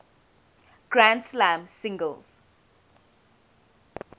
grand slam singles